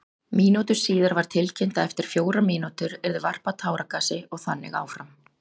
Mínútu síðar var tilkynnt að eftir fjórar mínútur yrði varpað táragasi og þannig áfram.